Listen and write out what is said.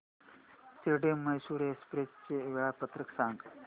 Shirdi Mysore express चे वेळापत्रक सांग